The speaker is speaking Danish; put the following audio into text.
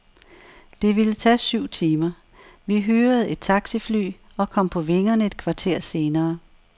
Det ville tage syv timer. Vi hyrede et taxifly, og kom på vingerne et kvarter senere.